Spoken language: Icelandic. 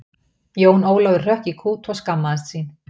Jón Ólafur hrökk í kút og skammaðist sín.